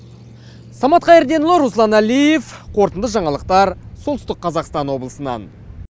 самат қайырденұлы руслан әлиев қорытынды жаңалықтар солтүстік қазақстан облысынан